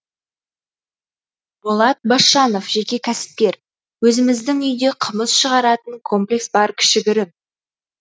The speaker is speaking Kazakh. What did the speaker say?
болат басжанов жеке кәсіпкер өзіміздің үйде қымыз шығаратын комплекс бар кішігірім